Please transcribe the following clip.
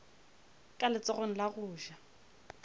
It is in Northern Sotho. ka letsogong la go ja